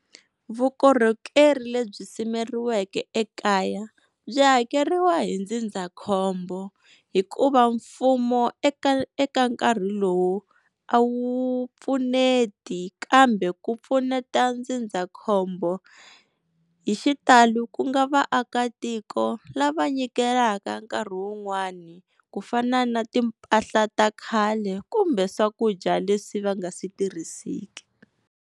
Vukorhokeri lebyi simekiweke ekaya, byi hakeriwa hi ndzindzakhombo hikuva mfumo eka eka nkarhi lowu a wu pfuneti. Kambe ku pfuneta ndzindzakhombo hi xitalo ku nga vaakatiko lava nyikelaka nkarhi wun'wani, ku fana na timpahla ta khale kumbe swakudya leswi va nga swi tirhiseki.